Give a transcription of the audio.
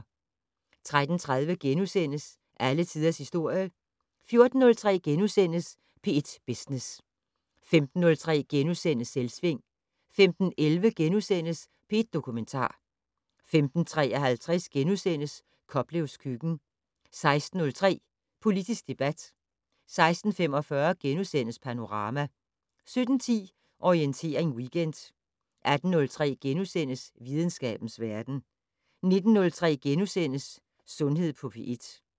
13:30: Alle tiders historie * 14:03: P1 Business * 15:03: Selvsving * 15:11: P1 Dokumentar * 15:53: Koplevs køkken * 16:03: Politisk debat 16:45: Panorama * 17:10: Orientering Weekend 18:03: Videnskabens verden * 19:03: Sundhed på P1 *